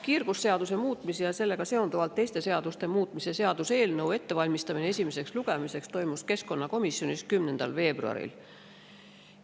Kiirgusseaduse muutmise ja sellega seonduvalt teiste seaduste muutmise seaduse eelnõu ettevalmistamine esimeseks lugemiseks toimus keskkonnakomisjonis 10. veebruaril.